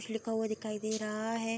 कुछ लिखा हुआ दिखाई दे रहा है।